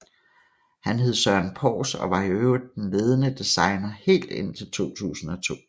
Han hed Søren Pors og var i øvrigt den ledende designer helt indtil 2002